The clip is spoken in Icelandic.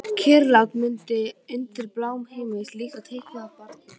Kyrrlát mynd undir bláma himins, líkt og teiknuð af barni.